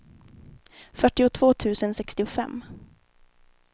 fyrtiotvå tusen sextiofem